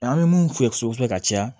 An bɛ mun filɛ ka caya